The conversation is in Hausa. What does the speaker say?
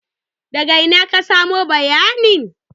Daga ina ka samo bayanin?